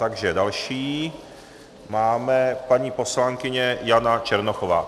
Takže další je paní poslankyně Jana Černochová.